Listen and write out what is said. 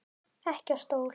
Ekki á stól.